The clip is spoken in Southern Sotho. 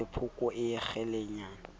e le sephoko a kgelekenya